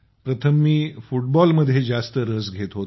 प्रथम मी फुटबॉल मध्ये जास्त रसघेत होतो